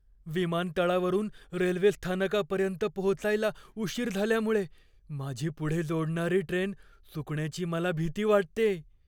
विमानतळावरून रेल्वेस्थानकापर्यंत पोहोचायला उशीर झाल्यामुळे माझी पुढे जोडणारी ट्रेन चुकण्याची मला भिती वाटतेय.